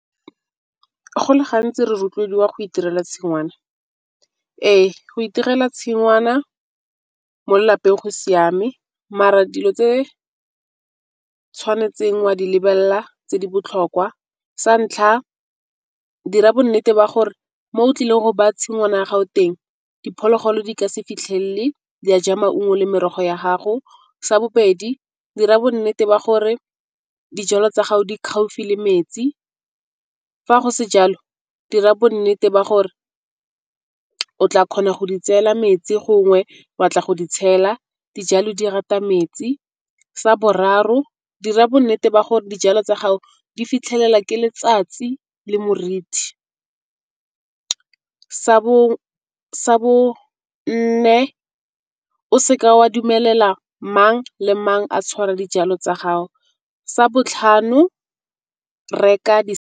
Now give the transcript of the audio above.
Go le gantsi re rotloediwa go itirela tshingwana ee, go itirela tshingwana mo lelapeng go siame mare dilo tse tshwanetseng o a di lebelela tse di botlhokwa sa ntlha dira bonnete ba gore mo o tlileng go ba tshingwana ya gago teng diphologolo di ka se fitlhelele di a ja maungo le merogo ya gago, sa bobedi dira bonnete ba gore dijalo tsa gago di gaufi le metsi fa go se jalo dira bonnete ba gore o tla kgona go di tseela metsi gongwe ba tla go di tshela dijalo di rata metsi, sa boraro dira bonnete ba gore dijalo tsa gago di fitlhelela ke letsatsi le morithi. sa bone o seke o a dumelela mang le mang a tshwara dijalo tsa gago, sa botlhano reka .